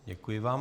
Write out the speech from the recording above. Děkuji vám.